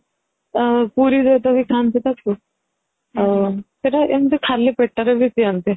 ପୁରୀରେ ତ ବି ଖାଆନ୍ତି ତାକୁ ଆଯ ସେଇଟା କୁ ଏମିତି ଖାଲି ପେଟରେ ବି ପିଅନ୍ତି